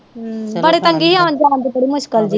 ਬੜੇ ਪੰਗੇ ਆਉਣ ਜਾਣ ਦੀ ਬੜੀ ਮੁਸ਼ਕਲ ਜੇ